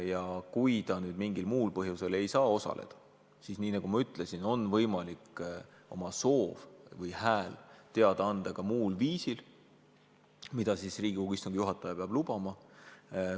Ja kui ta mingil põhjusel ei saa osaleda, siis, nagu ma ütlesin, on võimalik oma soov või hääl teada anda ka muul viisil, mida Riigikogu istungi juhataja peab lubama.